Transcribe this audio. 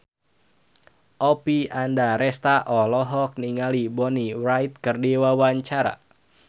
Oppie Andaresta olohok ningali Bonnie Wright keur diwawancara